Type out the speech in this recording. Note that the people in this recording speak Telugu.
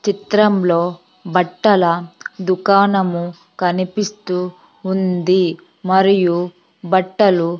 చిత్రంలో బట్టల దుకాణము కనిపిస్తూ ఉంది మరియు బట్టలు--